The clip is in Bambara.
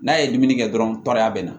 N'a ye dumuni kɛ dɔrɔn tɔrɔya bɛ na